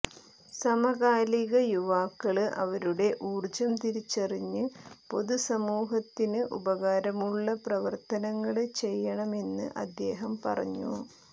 സമകാലിക യുവാക്കള് അവരുടെ ഊര്ജ്ജം തിരിച്ചറിഞ്ഞ് പൊതുസമൂഹത്തിന് ഉപകാരമുള്ള പ്രവര്ത്തനങ്ങള് ചെയ്യണമെന്ന് അദ്ദേഹം പറഞ്ഞു